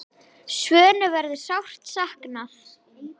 Svönu verður sárt saknað.